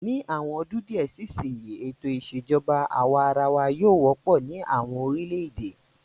Ni àwọn ọdún díẹ̀ sí ìsìn yìí, ètò ìṣèjọba àwa arawa yóò wọ́pọ̀ ní àwọn orílẹ̀-èdè.